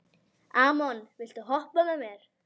Amon, viltu hoppa með mér?